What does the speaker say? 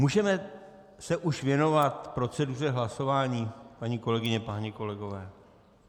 Můžeme se už věnovat proceduře hlasování, paní kolegyně, páni kolegové?